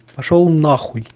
пошёл нахуй